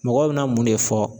Mɔgɔw bena mun ne fɔ